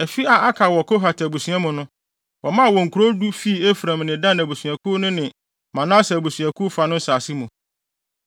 Afi a aka wɔ Kohat abusua mu no, wɔmaa wɔn nkurow du fii Efraim ne Dan mmusuakuw no ne Manase abusuakuw fa no nsase mu.